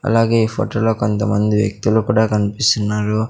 అలాగే ఈ ఫొటొ లో కొంతమంది వ్యక్తులు కూడా కన్పిస్తున్నారు.